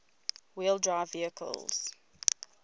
wheel drive vehicles